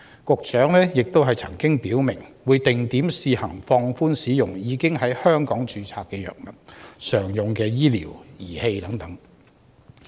局長亦曾表明，會定點試行放寬使用已在香港註冊的藥物、常用醫療儀器等。